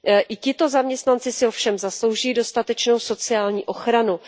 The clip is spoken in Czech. I tito zaměstnanci si ovšem zaslouží dostatečnou sociální ochranu.